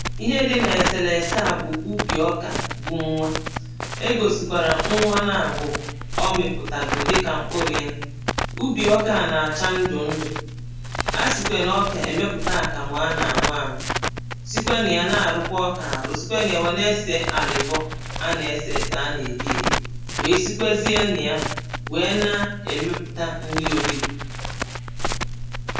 Ihe dị na eselese a bụ ubi ọkà gwụọ nwa e gosikwara nnwa na abụọ ọ mịpụtago dịka mkpụrụ yà ubi ọka a na-acha ndụ ndụ a sikwa na ọka emeputa akamụ a na-an̄ụ an̄ụ sikwe na ya na arụkwa ọka arụ sikwe na ya na-ese alịbọ a na-ese ese a na-eli eli wee sikwezie na yà wee na emeputa nni olilì